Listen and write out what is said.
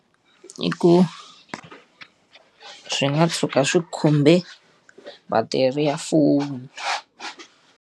I ku, swi nga tshuka swi khumbe battery ya foni.